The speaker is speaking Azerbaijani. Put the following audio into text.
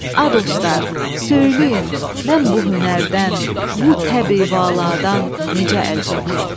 A dostlar, söyləyin, mən bu hünərdən, bu təbi-valadan necə əl çəkim?